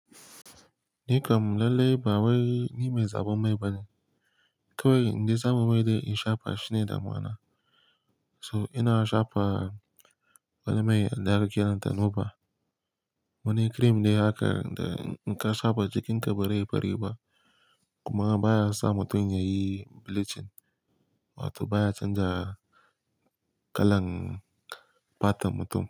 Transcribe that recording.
Ni kam lallai ba wai ni mai zaɓen mai bane. Kai wai inde sa mu mai da in shafa shine damuwana. To ina shafa wani mai wanda ake kiranta nova. Wani cream ne haka, da in ka shafa jikinka ba rai bari ba kuma baya sa mutum yayi bleaching, wato baya canza kalan fatar mutum.